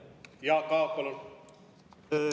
Jaak Aab, palun!